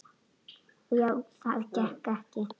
Og já, það gekk ekki.